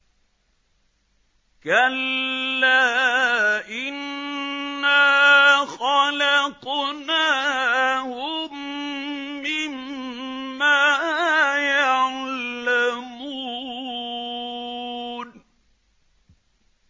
كَلَّا ۖ إِنَّا خَلَقْنَاهُم مِّمَّا يَعْلَمُونَ